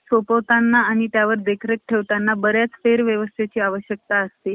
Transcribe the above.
म्हणून दुर्दुवाने वि~ विधवा झालेल्या आणि गृहिणीचे जीवन पुन्हा लाभावे अशी स्वाभाविक इच्छा बाळगणाऱ्या कोणत्याही मुलीवर व स्त्रियांवर,